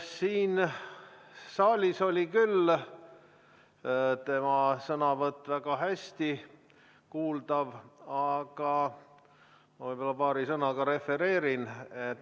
Siin saalis oli küll tema sõnavõtt väga hästi kuulda, aga ma võib-olla paari sõnaga refereerin.